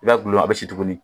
I b'a dulon a bɛ si tuguni